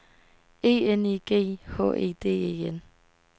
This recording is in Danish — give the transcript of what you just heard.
E N I G H E D E N